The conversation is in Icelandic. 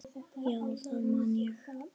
Já, það man ég